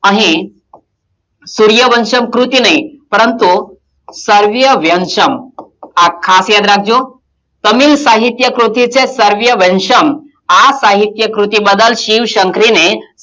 અહીં સૂર્યવંશમ ક્રુતિ નહિઁ પરંતુ સોર્યવંશમ આ ખાસ યાદ રાખજો તમિલ સાહિત્ય ક્રુતિ છે સોર્યવંશમ આ સાહિત્ય ક્રુતિ બદલ શિવ - શંકરી ને,